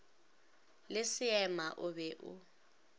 le seema o be o